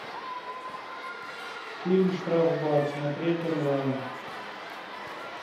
фильм штрафбат смотреть онлайн